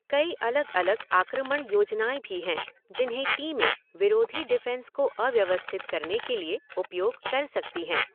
कई अलग अलग आक्रमण योजनाएँ भी हैं जिन्हें टीमें विरोधी डिफेंस को अव्यवस्थित करने के लिए उपयोग कर सकती हैं।